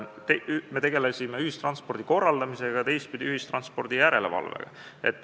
Me tegelesime ühistranspordi korraldamisega ja ühistranspordi järelevalvega.